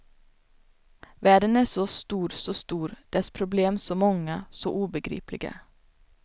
Världen är så stor så stor, dess problem så många, så ogripbara.